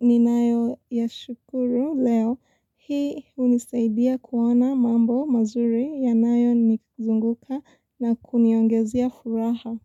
ni nayo ya shukuru leo. Hii hunisaidia kuoana mambo mazuri ya nayo ni kuzunguka na kuniongezea furaha.